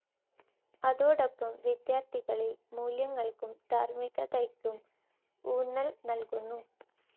അതോടൊപ്പം വിദ്യാർഥികളിൽ മൂല്യങ്ങൾക്കും ധാർമ്മികതക്കും ഊന്നൽ നൽകുന്നു.